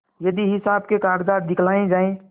यदि हिसाब के कागजात दिखलाये जाएँ